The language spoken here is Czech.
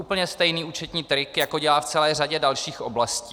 Úplně stejný účetní trik, jako dělá v celé řadě dalších oblastí.